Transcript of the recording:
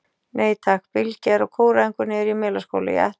Nei takk, Bylgja er á kóræfingu niðri í Melaskóla, ég ætla að pikka hana upp.